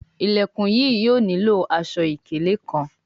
Ilẹkùn yìí yóò nilo aṣọ-ikele kán